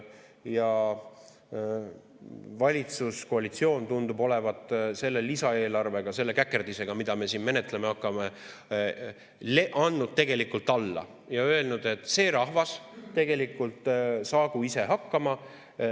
Ja valitsuskoalitsioon tundub olevat selle lisaeelarvega, selle käkerdisega, mida me siin menetlema hakkame, andnud tegelikult alla ja öelnud, et rahvas saagu ise hakkama.